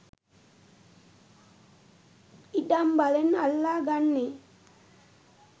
ඉඩම් බලෙන් අල්ලා ගන්නේ